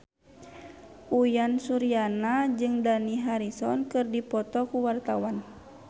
Uyan Suryana jeung Dani Harrison keur dipoto ku wartawan